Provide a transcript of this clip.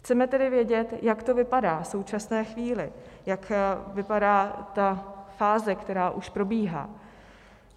Chceme tedy vědět, jak to vypadá v současné chvíli, jak vypadá ta fáze, která už probíhá.